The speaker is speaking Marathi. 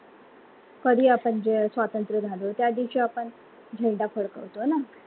कधी आपण स्वतंत्र झालो, त्या दिवशी आपण झेंडा फडकवतो ना